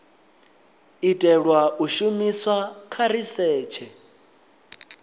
itelwa u shumiswa kha risetshe